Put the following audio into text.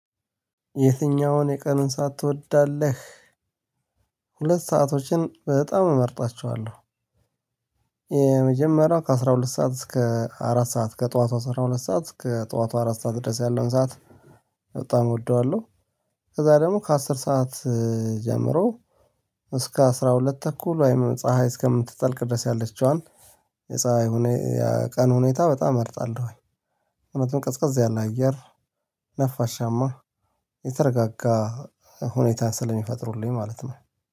የትኛውን የቀኑን ሰዓት ትወዳለህ? ሁለት ሰአቶችን በጣም እመርጣቸዋለሁ። የመጀመሪያው ከአሥራ ሁለት ሰዓት እስከ አራት ሰዓት ከጠዋቱ አስራ ሁለት ሰዓት እስከ ጠዋቱ አራት ሰዓት ድረስ ያለውን ሰዓት በጣም እወደዋለሁ። ከዛ ደግሞ ከአስር ሰዓት ጀምሮ እስከ አስራ ሁለት ተኩል ወይም ፀሀይ እስከምትጠልቅ ድረስ ያለችዋን የፀሀይ የቀን ሁኔታ በጣም እርጣለሁ። እውነትም ቀዝቀዛ ያለ አየር ነፋሻማ የተረጋጋ ሁኔታ ስለሚፈጥሩልኝ ማለት ነው